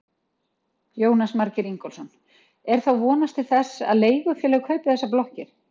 Jónas Margeir Ingólfsson: Er þá vonast til þess að leigufélög kaupi þessar blokkir?